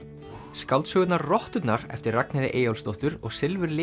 skáldsögurnar rotturnar eftir Ragnheiði Eyjólfsdóttur og